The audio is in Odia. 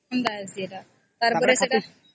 ତାର ପରେ ସେଟା